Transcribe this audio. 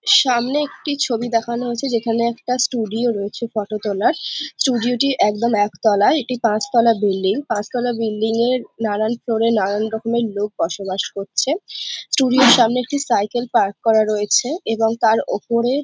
সামনে একটি ছবি দেখানো হয়েছে যেখানে একটা ষ্টুডিও রয়েছে ফটো তোলার ষ্টুডিও টি একদম একতলায় এটি পাঁচতলা বিল্ডিং পাঁচ তলা বিল্ডিং এর নানান ফ্লোরে নানান রকমের লোক বসবাস করছে ষ্টুডিওর সামনে একটি সাইকেল পার্ক করা রয়েছে এবং তার ওপরে --